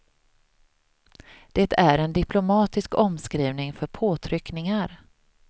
Det är en diplomatisk omskrivning för påtryckningar.